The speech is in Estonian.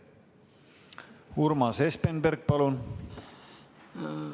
Urmas Espenberg, palun!